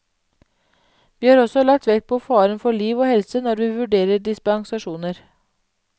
Vi har også lagt vekt på faren for liv og helse når vi vurderer dispensasjoner.